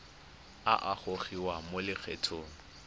a a gogiwang mo lokgethong